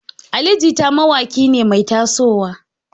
Ali Jita mawaƙiya ce mai taso wa.